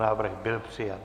Návrh byl přijat.